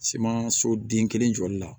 Siman so den kelen jɔli la